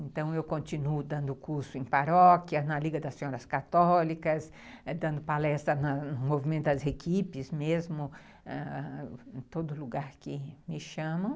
Então eu continuo dando curso em paróquia, na Liga das Senhoras Católicas, dando palestra no movimento das equipes mesmo, em todo lugar que me chamam.